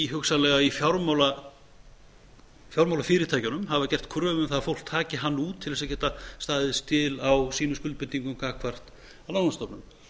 hugsanlega fjármálafyrirtækjunum hafa gert kröfu um það að fólk taki hann út til þess að geta staðið skil á sínum skuldbindingum gagnvart lánastofnunum